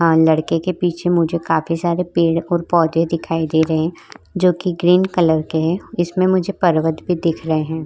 आ लड़के के पीछे मुझे काफी सारे पेड़ और पोधे दिखाई दे रहे है जोकि ग्रीन कलर के है इसमें मुझे पर्वत भी दिख रहे है।